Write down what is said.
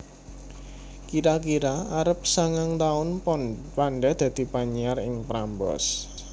Kira kira arep sangang taun Panda dadi penyiar ing Prambors